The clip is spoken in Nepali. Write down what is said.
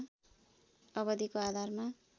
अवधिको आधारमा